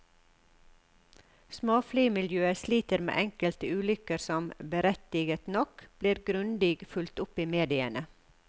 Småflymiljøet sliter med enkelte ulykker som, berettiget nok, blir grundig fulgt opp i mediene.